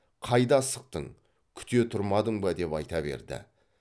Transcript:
қайда асықтың күте тұрмадың ба деп айта берді